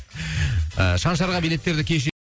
шаншарға билеттерді